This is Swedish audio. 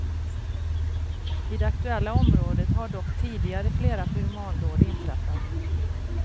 I det aktuella området har dock tidigare flera pyromandåd inträffat.